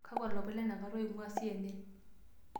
kakua lomon letenakata loinguaa c.n.n